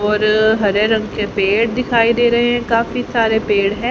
और हरे रंग के पेड़ दिखाई दे रहे हैं काफी सारे पेड़ हैं।